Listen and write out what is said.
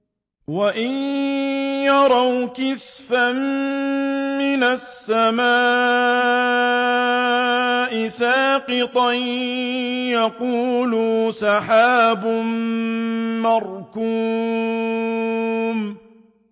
وَإِن يَرَوْا كِسْفًا مِّنَ السَّمَاءِ سَاقِطًا يَقُولُوا سَحَابٌ مَّرْكُومٌ